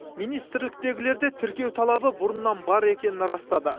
министрліктегілер де тіркеу талабы бұрыннан бар екенін растады